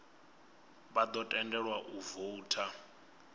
vha ḓo tendelwa u voutha